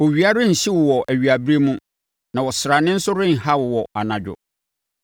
Owia renhye wo wɔ awiaberɛ mu, na ɔsrane nso renha wo anadwo.